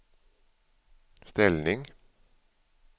ställning